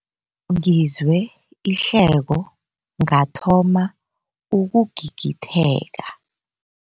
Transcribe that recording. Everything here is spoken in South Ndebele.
Ngizwe ihleko ngathoma ukugigitheka.